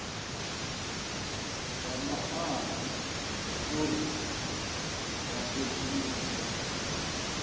nga maana zwauri vha sedzuluse